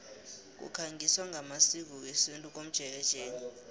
kukhangiswa ngamasiko wesintu komjekejeke